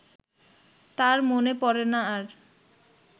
তার মনে পড়ে না আর